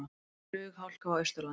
Flughálka á Austurlandi